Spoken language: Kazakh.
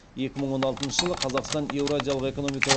екі мың он алтыншы жылы қазақстан еуразиялық экономикалық